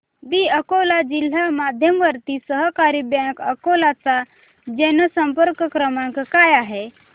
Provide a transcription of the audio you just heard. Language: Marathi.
दि अकोला जिल्हा मध्यवर्ती सहकारी बँक अकोला चा जनसंपर्क क्रमांक काय आहे